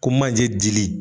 Ko manje dili